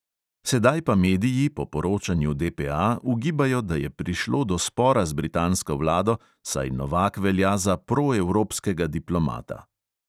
Sedaj pa mediji po poročanju DPA ugibajo, da je prišlo do spora z britansko vlado, saj novak velja za proevropskega diplomata.